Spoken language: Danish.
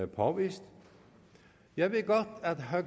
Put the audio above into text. påvist jeg ved godt at herre